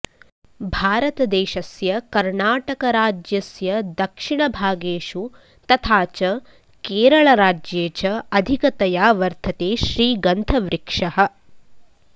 भारतदेशस्य कर्णाटकराज्यस्य दक्षिणभागेषु तथा च केरलराज्ये च अधिकतया वर्धते श्रीगन्धवृक्षः